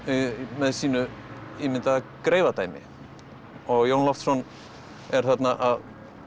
með sínu ímyndaða greifadæmi og Jón Loftsson er þarna að